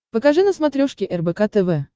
покажи на смотрешке рбк тв